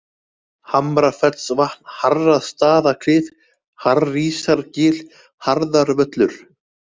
Hamrafellsvatn, Harrastaðaklif, Harísargil, Harðarvöllur